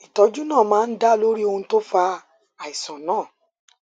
ìtọjú náà máa ń dá lórí ohun tó fa àìsàn náà